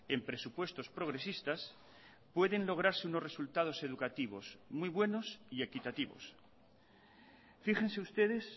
en presupuestos progresistas pueden lograrse unos resultados educativos muy buenos y equitativos fíjense ustedes